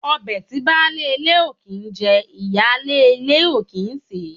Ọbẹ̀ tí baálé ilé ò kìí jẹ, ìyáálé ilé ò kì í sèé.